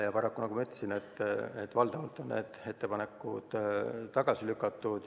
Paraku, nagu ma ütlesin, on need ettepanekud valdavalt tagasi lükatud.